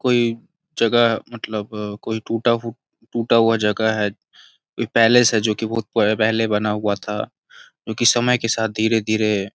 कोई जगह मतलब कोई टूटा टूटा हुआ जगह है कोई पैलेस है जो कि बहुत पहले बना हुआ था जो कि समय के साथ धीरे-धीरे --